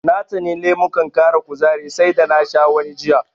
Na tsani lemukan ƙara kuzari sai da na sha wani jiya.